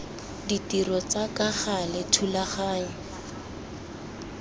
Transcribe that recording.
ditiro tsa ka gale thulaganyo